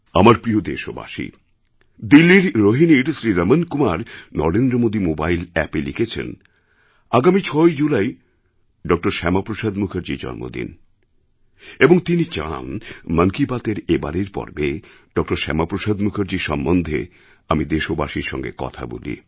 আমার প্রিয় দেশবাসী দিল্লির রোহিনীর শ্রী রমণ কুমার নরেন্দ্রমোদি মোবাইল অ্যাপএ লিখেছেন আগামী ৬ই জুলাই ড শ্যামাপ্রসাদ মুখার্জির জন্মদিন এবং তিনি চান মন কি বাতএর এবারের পর্বে ড শ্যামাপ্রসাদ মুখার্জির সম্বন্ধে আমি দেশবাসীর সঙ্গে কথা বলি